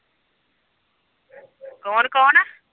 ਕੌਣ-ਕੌਣ?